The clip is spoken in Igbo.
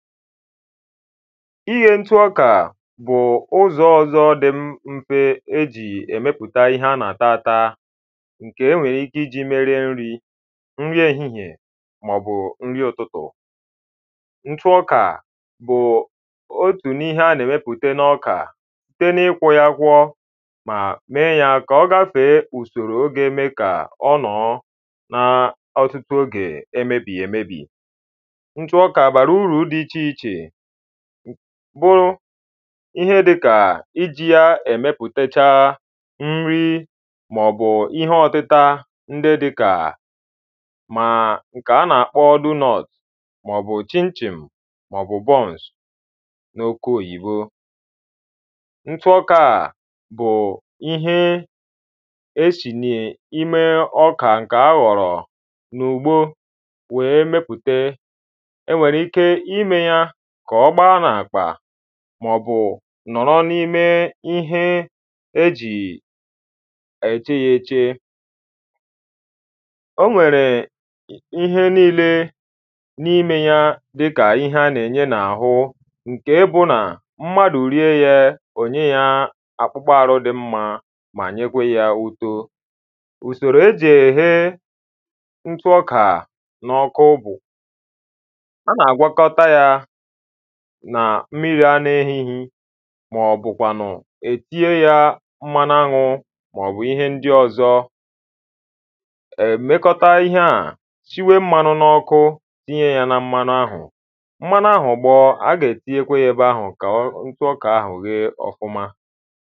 iye ntụ ọkà bù ụzọ ọ̀zọ dị m mfe e jì ẹ̀mepùta ihẹ a nà-àta ata ñ̀kè e nwèrè ịke iji mee rie nrī ñrị èhịhịè mà ọ̀ bù ǹri ùtutù ntụ ọkà bụụ otù n’ihe a nà-èwepùta n’okà site n’ịkwọ ya akwọ mà mẹẹ yà kà ọ gafèe ùsòrò ga-eme yā ka ọ nọọ nā ọtutụ ogè emebìghì èmèbì ntụ ọkà bàrà urū dị ịchè ịchè bụrụ ịhe dikà ijī ya èmepùtecha nri mà ọ̀ bù ịhe ọtita ndị dị kà màa ǹkè a nà-àkpo dụnọt mà ọ bù chim chìm mà ọ bù bọns n’okwu òyìbo ntụ ọkā à bụụ ịhe e sì nye ime ọkà ǹkè a ghọ̀rọ̀ n’ùgbo wee mepùte e nwèrè ịke ịmee ya kà ọ gba n’àkpà mà ọ̀ bù nọ̀rọ n’ịme ịhe e jì èche yā eche ọ nwèrè ịhe niile n’ịme ya dịkà ịhe anà ènye n’àhụ ǹke bụ nà mmadù rie ye ò nye ya àkpukpo ārụ dị mma mà nyekwe ya ụto ùsòrò e jì èghe ntụ ọkà n’ọkụ bù a nà-àgwọkọta ya nà mmīrī ana-ehighi mà ọ bùkwanù è tịnye ya mmanu añū mà ọ̀ bù ịhe ndị ọzọ è mekota ihe à shiwe mmānū n’ọkụ tinye ya na mmanu ahù mmanu ahù gbọọ a gà ètinyekwe ya ebe ahù kà ọ ntụ ọkà ahù ghe ọ̀fụma